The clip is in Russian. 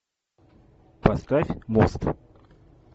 поставь мост